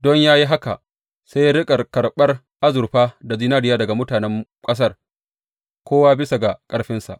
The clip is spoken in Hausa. Don yă yi haka sai ya riƙa karɓar azurfa da zinariya daga mutanen ƙasar, kowa bisa ga ƙarfinsa.